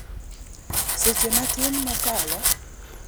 seche matin mokalo ***